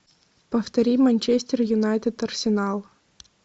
повтори манчестер юнайтед арсенал